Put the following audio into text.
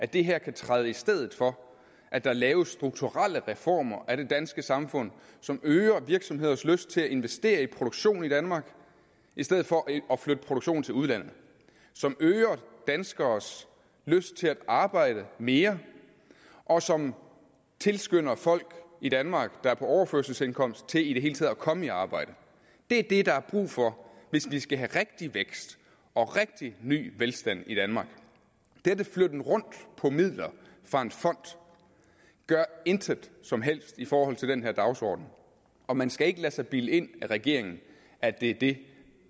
det her kan træde i stedet for at der laves strukturelle reformer af det danske samfund som øger virksomhedernes lyst til at investere i produktion i danmark i stedet for at flytte produktionen til udlandet som øger danskernes lyst til at arbejde mere og som tilskynder folk i danmark der er på overførselsindkomst til i det hele taget at komme i arbejde det er det der er brug for hvis vi skal have rigtig vækst og rigtig ny velstand i danmark denne flytten rundt på midler fra en fond gør intet som helst i forhold til den dagsorden og man skal ikke lade sig bilde ind af regeringen at det er det